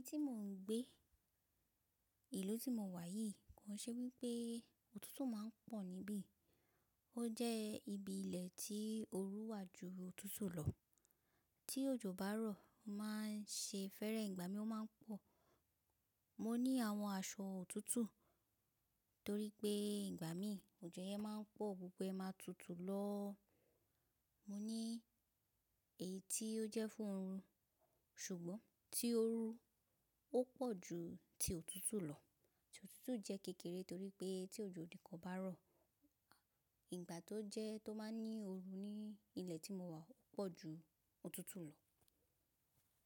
Ti mò ń gbé, ìlú tí mo wà yìí, kó i ṣe wí pé òtútù máa ń pọ̀ níbí. Ó jẹ́ ibi ilẹ̀ tí òru wà ju òtútù lọ. Tí òjò bá rọ̀, ó máa ń ṣe fẹ́rẹ̀, ìgbà mí ó máa ń pọ̀. Mo ní àwọn aṣọ òtútù torí pé ìgbà mí òjò yẹn máa ń pọ̀, gbogbo ẹ máa tutù lọ. Mo ní èyí tí ó jẹ́ fún òru, ṣùgbọ́n tí òru ó pọ̀ ju ti òtútù lọ. Ti òtútù jẹ́ kékeré torí pé tí òjò nìkan bá rọ̀, ìgbà tó jẹ́ tó máa ń ní òru ní ilẹ̀ tí mo wà ó pọ̀ ju òtútù lọ.